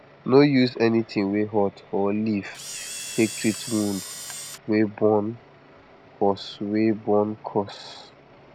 no use anything wey hot or leaf take treat wound wey burn casue wey burn casue